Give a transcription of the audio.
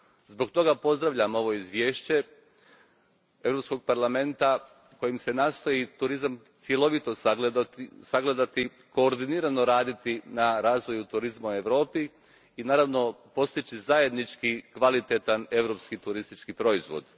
Zbog toga pozdravljam ovo izvješće Europskog parlamenta kojim se nastoji turizam cjelovito sagledati, koordinirano raditi na razvoju turizma u Europi i naravno postići zajednički, kvalitetan europski turistički proizvod.